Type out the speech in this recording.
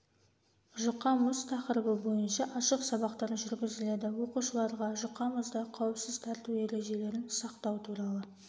жұқа мұз тақырыбы бойынша ашық сабақтар жүргізіледі оқушыларға жұқа мұзда қауіпсіз тәртібі ережелерін сақтау туралы